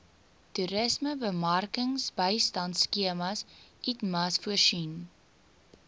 toerismebemarkingsbystandskema itmas voorsien